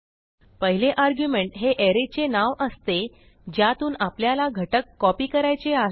पहिले आर्ग्युमेंट हे arrayचे नाव असते ज्यातून आपल्याला घटक कॉपी करायचे आहेत